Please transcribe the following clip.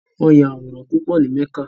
Won ya aworan pupo ni Mecca